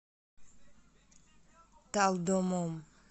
талдомом